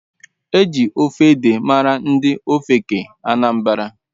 Eji ofe ede mara ndi ofeke Anambara.